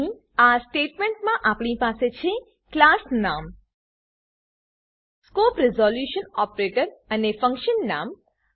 અહીં આ સ્ટેટમેંટમાં આપણી પાસે છે ક્લાસ નામ સ્કોપ રીઝોલ્યુંશન ઓપરેટર અને ફંક્શન નામ